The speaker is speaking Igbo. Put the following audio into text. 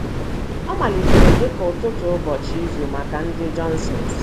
Ọ malitere dị ka ụtụtụ ụbọchị izu maka ndị Johnsons.